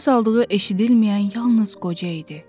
nəfəs aldığı eşidilməyən yalnız qoca idi.